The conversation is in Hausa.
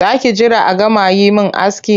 Za ki jira a gama yi min aski?